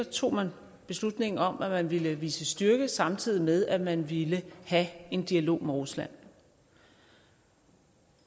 tog man beslutningen om at ville vise styrke samtidig med at man ville have en dialog med rusland